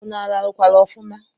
Ụnụ rarukwara ọfuma?